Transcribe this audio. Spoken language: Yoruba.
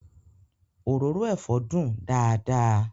Òróró ẹ̀fọ́ dùn dáadáa